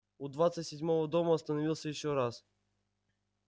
у двадцать седьмого дома остановился ещё раз